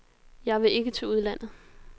Jeg vil ikke til udlandet.